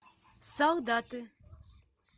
солдаты